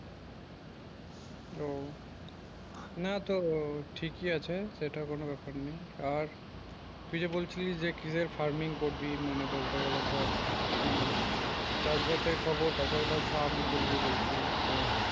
ও না তো ঠিকই আছে সেটা কোন ব্যাপার নেই আর তুই যে বলছিস যে কিভাবে ফার্মিং করবি মানে বলতে গেলে ধর কি চাষবাসের খবর তাছাড়া তার ফার্ম খুলবো বলছিলিস তো